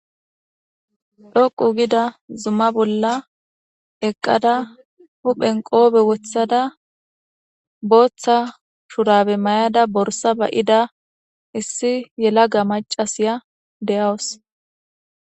Dhoqu gida zuma bolla eqqada huphen qoobe wothada booththa shurabe mayada borsa ba'ida issi yelaga macasiya deyawus.